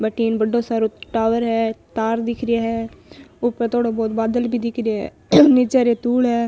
बठिन बड़ो सारों टॉवर है तार दिख रा है ऊपर थोड़ो बहुत बादल भी दिख रो है नीच रेतुल है।